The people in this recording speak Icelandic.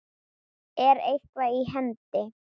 Er eitthvað í hendi?